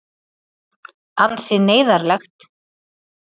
Ansi neyðarlegt.